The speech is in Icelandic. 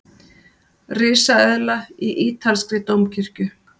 Risaeðla í ítalskri dómkirkju